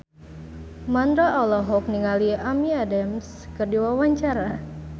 Mandra olohok ningali Amy Adams keur diwawancara